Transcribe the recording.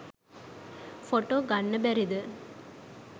Photo ගන්න බැරිද?